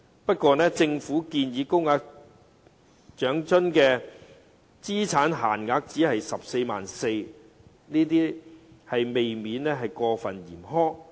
不過，政府建議高額長生津的資產限額只是 144,000 元，這未免過分嚴苛。